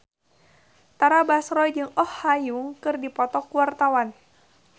Tara Basro jeung Oh Ha Young keur dipoto ku wartawan